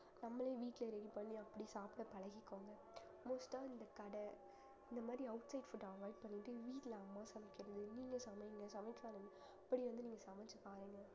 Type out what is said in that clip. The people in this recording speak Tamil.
நம்மளே வீட்டுல ready பண்ணி அப்படி சாப்பிட பழகிக்கோங்க most ஆ இந்த கடை இந்த மாதிரி outside food avoid பண்ணிட்டு வீட்ல அம்மா சமைக்கிறது நீங்க சமைங்க சமைக்காதது இப்படி வந்து நீங்க சமைச்சு பாருங்க